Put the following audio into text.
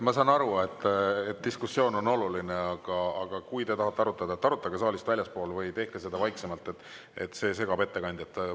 Ma saan aru, et diskussioon on oluline, aga kui te tahate arutada, arutage saalist väljaspool või tehke seda vaiksemalt, see segab ettekandjat.